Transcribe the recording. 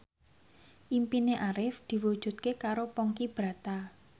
impine Arif diwujudke karo Ponky Brata